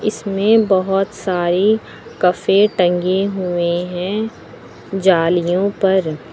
इसमें बहुत सारी कफे टंगे हुए हैं जालियों पर।